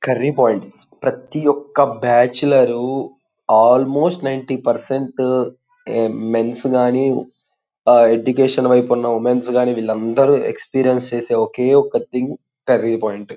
Curry points ప్రతి ఒక్క bachelor almost ninety percent ఆ మేన్స్ గానీ ఆ ఎడ్యుకేషన్ వైపు ఉన్న ఉమెన్స్ గాని వీళ్ళందరూ ఎక్స్పీరియన్స్ చేసే ఒకే ఒక్క థింగ్ కర్రీ పాయింట్ .